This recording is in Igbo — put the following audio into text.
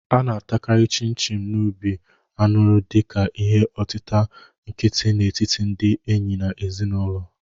A na-atakarị Chin-chin n'obi anuri dị ka ihe otita nkịtị n'etiti ndị enyi na ezinụlọ.